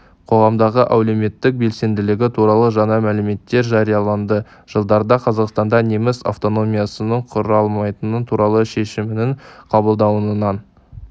қоғамдағы әлеуметтік белсенділігі туралы жаңа мәліметтер жарияланды жылдарда қазақстанда неміс автономиясының құрылмайтыны туралы шешімнің қабылдануынан